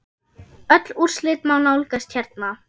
Öll úrslit má nálgast hérna.